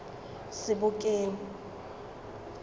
sebokeng